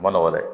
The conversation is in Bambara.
Ma nɔgɔn dɛ